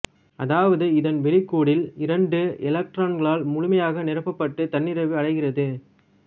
அதாவது இதன் வெளிக்கூடுல் இரண்டு எலக்ட்ரான்களால் முழுமையாக நிரப்பப்பட்டு தன்னிறைவு அடைகிறது